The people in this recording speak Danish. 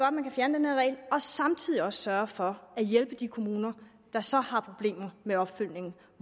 at man kan fjerne den her regel og samtidig også sørge for at hjælpe de kommuner der så har problemer med opfølgningen